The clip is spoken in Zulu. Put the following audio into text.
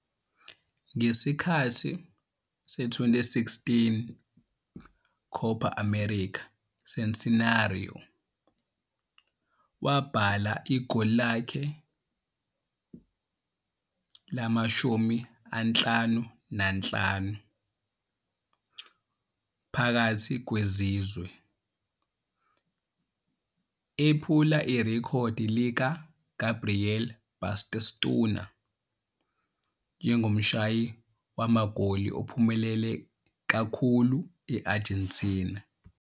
Ngesikhathi se-2016 Copa América Centenario, wabhala igoli lakhe le-55 phakathi kwezizwe, ephula irekhodi likaGabriel Batistuta njengomshayi magoli ophumelele kakhulu e-Argentina.